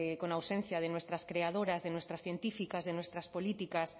con ausencia de nuestras creadoras de nuestras científicas de nuestras políticas